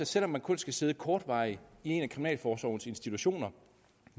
selv om man kun skal sidde kortvarigt i en af kriminalforsorgens institutioner og